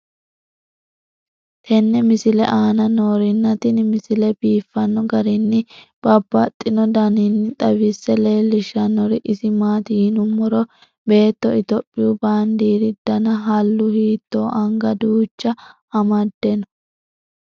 tenne misile aana noorina tini misile biiffanno garinni babaxxinno daniinni xawisse leelishanori isi maati yinummoro beetto ithiopiyu baandeeri danna hallu hiitto anga duucha amade noo